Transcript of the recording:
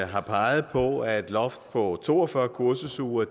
har peget på at et loft på to og fyrre kursusuger